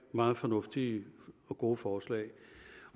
meget fornuftige og gode forslag